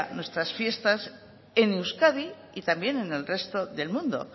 nuestras fiestas en euskadi y también en el resto del mundo